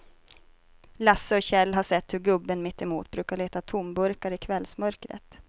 Lasse och Kjell har sett hur gubben mittemot brukar leta tomburkar i kvällsmörkret.